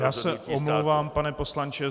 Já se omlouvám, pane poslanče.